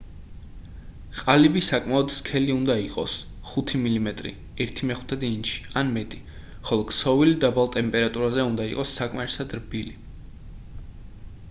ყალიბი საკმაოდ სქელი უნდა იყოს 5 მმ 1/5 ინჩი ან მეტი ხოლო ქსოვილი დაბალ ტემპერატურაზე უნდა იყოს საკმარისად რბილი